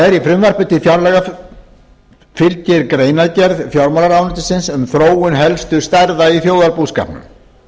þá er fylgir frumvarpi til fjárlaga greinargerð fjármálaráðuneytisins um þróun helstu stærða í þjóðarbúskapnum